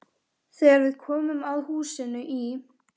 Þegar við komum að húsinu í